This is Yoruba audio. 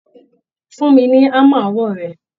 Fún mi ní hámà ọwọ́ rẹ